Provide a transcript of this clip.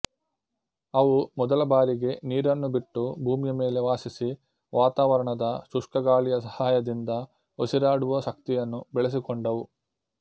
ಅವು ಮೊದಲ ಬಾರಿಗೆ ನೀರನ್ನು ಬಿಟ್ಟು ಭೂಮಿಯ ಮೇಲೆ ವಾಸಿಸಿ ವಾತಾವರಣದ ಶುಷ್ಕ ಗಾಳಿಯ ಸಹಾಯದಿಂದ ಉಸಿರಾಡುವ ಶಕ್ತಿಯನ್ನು ಬೆಳೆಸಿಕೊಂಡವು